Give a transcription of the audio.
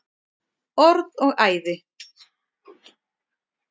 Orð og æði.